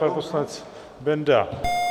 Pan poslanec Benda?